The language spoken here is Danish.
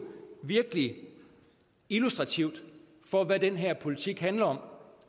virkelig illustrativt for hvad den her politik handler om